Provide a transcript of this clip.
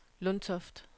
Lundtoft